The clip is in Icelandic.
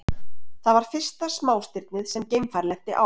Það var fyrsta smástirnið sem geimfar lenti á.